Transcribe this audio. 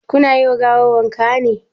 Ku na yi ma gawar wanka ne?